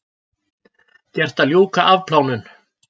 Gert að ljúka afplánun